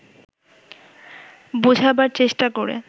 বোঝাবার চেষ্টা করে